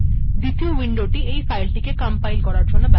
দ্বিতীয় উইন্ডোটি এই ফাইলটিকে কম্পাইল করার জন্য ব্যবহার করা হয়